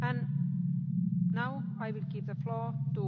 mindig felmerül a kérdés, hogy ki fizeti a révészt?